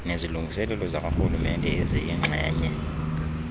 nezilungiselelo zakwarhulumente eziyingxenye